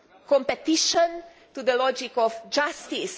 competition to the logic of justice.